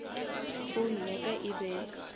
phone ya ka e be